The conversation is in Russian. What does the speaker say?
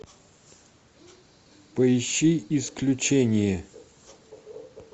поищи исключение